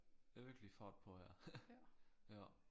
Er virkelig fart på her ja